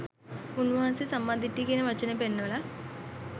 උන්වහන්සේ සම්මා දිට්ඨිය කියන වචනේ පෙන්වලා